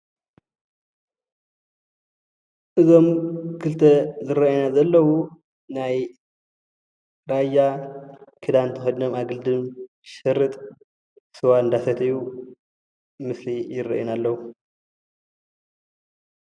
እዞም ክልተ ዝረአዩና ዘለው ናይ ራያ ክዳን ተከዲኖም ኣገልድም ሽርጥ ስዋ እናሰተዩ ምስሊ ይረአዩና ኣለው፡፡